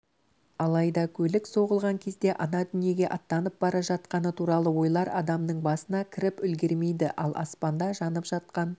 алайдакөлік соғылған кезде ана дүниеге аттанып бара жатқаны туралы ойлар адамныңбасына кіріпүлгермейді ал аспанда жанып жатқан